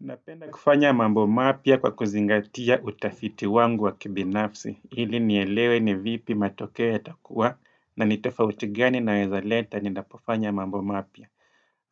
Napenda kufanya mambo mapya kwa kuzingatia utafiti wangu wa kibinafsi hili nielewe ni vipi matokeo yatakua na nitofauti gani naweza leta ninapofanya mambo mapya